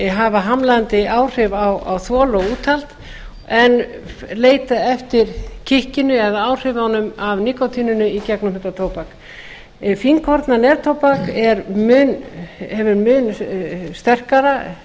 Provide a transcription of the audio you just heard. hafa hamlandi áhrif á þol og úthald en leita eftir kikkinu eða áhrifunum af nikótíninu í gegnum þetta tóbak fínkorna neftóbak hefur mun sterkara